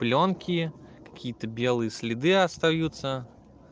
плёнки какие-то белые следы остаются